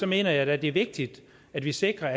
mener jeg at det er vigtigt at vi sikrer